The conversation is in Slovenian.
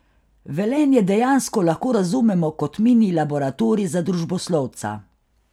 Velenje dejansko lahko razumemo kot mini laboratorij za družboslovca.